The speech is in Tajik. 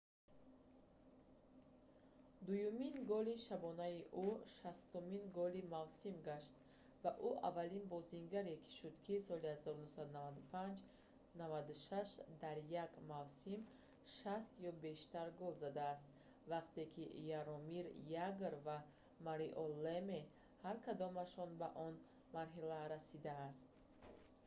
дуюмин голи шабонаи ӯ 60-умин голи мавсим гашт ва ӯ аввалин бозингаре шуд ки аз соли 1995-96 дар як мавсим 60 ё бештар гол задааст вақте ки яромир ягр ва марио леме ҳар кадомашон ба он марҳила расиданд